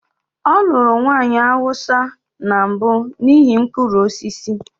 Ọ lụrụ nwanyị Hausa na mbụ n'ihi mkpụrụ osisi.